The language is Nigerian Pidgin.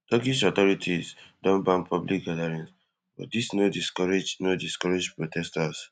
turkish authorities don ban public gatherings but dis no discourage no discourage protesters